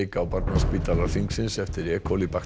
á barnaspítala Hringsins eftir e